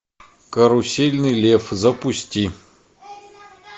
карусельный лев запусти